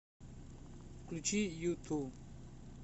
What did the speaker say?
включи юту